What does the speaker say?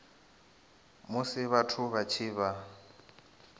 musi vhathu vha tshi vha